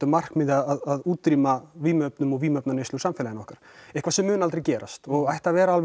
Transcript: markmiði að útrýma vímuefnum og vímuefnaneyslu úr samfélaginu okkar eitthvað sem mun aldrei gerast og ætti að vera